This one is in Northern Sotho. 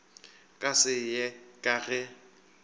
ka se ye ka ge